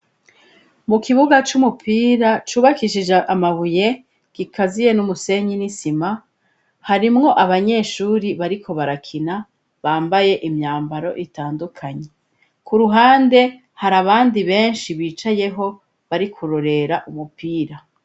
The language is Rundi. Mu kibuga c'umupira cubakishije amabuye, gikaziye n'umusenyi n'isima, harimwo abanyeshuri bariko barakina bambaye imyambaro itandukanye, k'uruhande, hari abandi benshi bicayeho bari kurorera umupira.